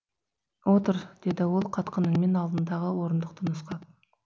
отыр деді ол қатқыл үнмен алдындағы орындықты нұсқап